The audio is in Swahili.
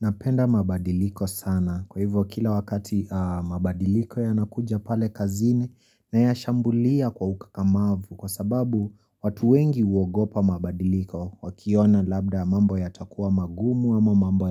Napenda mabadiliko sana kwa hivyo kila wakati mabadiliko yanakuja pale kazini nayashambulia kwa ukakamavu kwasababu watu wengi huogopa mabadiliko wakiona labda mambo yatakuwa magumu ama mambo